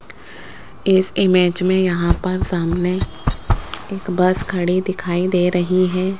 इस इमेज में यहां पर सामने एक बस खड़ी दिखाई दे रही है।